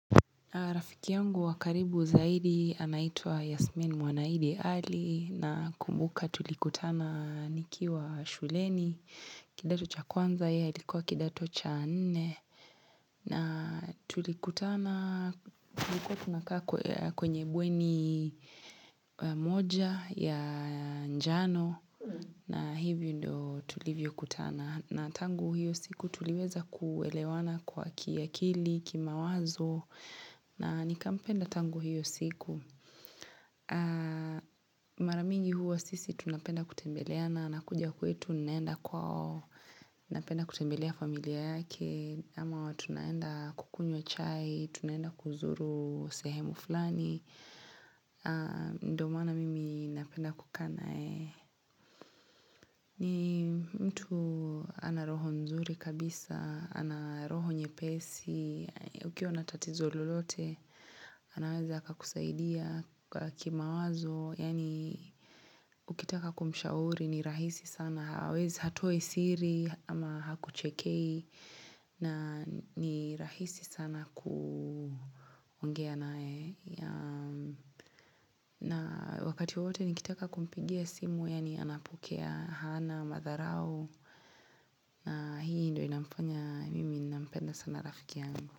Rafiki yangu wakaribu zaidi anaitwa Yasmin Mwanaidi Ali nakumbuka tulikutana nikiwa shuleni, kidato cha kwanza yeye alikuwa kidato cha nne. Na tulikutana kwenye bweni moja ya njano na hivyo ndio tulivyo kutana. Na tangu hiyo siku tuliweza kuelewana kwa kiakili, kimawazo na nikampenda tangu hiyo siku. Mara mingi huwa sisi tunapenda kutembeleana anakuja kwetu ninaenda kwao, Napenda kutembelea familia yake ama huatunaenda kukunywa chai Tunaenda kuzuru sehemu fulani ndo maana mimi napenda kukaa na yeye ni mtu ana roho nzuri kabisa ana roho nyepesi Ukiwa natatizo lolote anaweza akakusaidia kimawazo Yaani ukitaka kumshauri ni rahisi sana hawezi hatoi siri ama hakuchekei na ni rahisi sana kuongea nae na wakati wote nikitaka kumpigia simu yani anapokea hana, Matharao, hii ndo inamfanya mimi nampenda sana rafiki yangu.